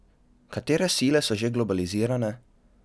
Katere sile so že globalizirane?